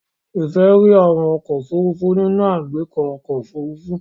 Ife ríi àwọn ọkọ́ òfurufú nínú agbeko ọkọ́ òfurufú.